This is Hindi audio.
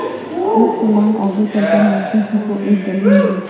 एक फर्लांग आगे चल कर मुंशी जी को एक गली मिली